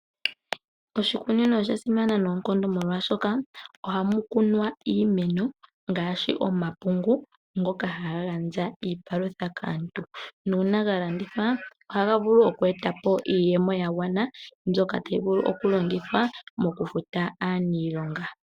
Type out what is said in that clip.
Oshikunino osha simana noonkondo molwaashoka ohamu kunwa iimeno ngaashi omapungu ngoka haga gandja iipalutha kaantu nuuna galandithwa ohaga vulu okweetapo iiyemo yagwana mbyoka tayi vulu okulongithwa mokufuta aaniilonga.